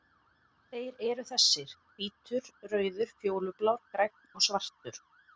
Þeir eru þessir: Hvítur, rauður, fjólublár, grænn og svartur.